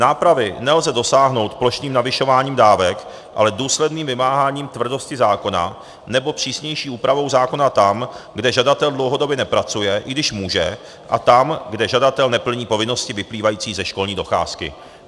Nápravy nelze dosáhnout plošným navyšováním dávek, ale důsledným vymáháním tvrdosti zákona nebo přísnější úpravou zákona tam, kde žadatel dlouhodobě nepracuje, i když může, a tam, kde žadatel neplní povinnosti vyplývající ze školní docházky.